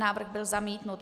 Návrh byl zamítnut.